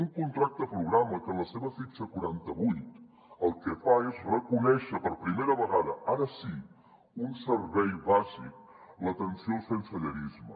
un contracte programa que en la seva fitxa quaranta vuit el que fa és reconèixer per primera vegada ara sí un servei bàsic l’atenció al sensellarisme